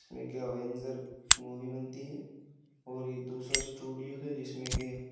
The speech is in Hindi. जिसमें के अवेंजर मूवी बनती है और एक दूसरा स्टूडियो है जिसमें के --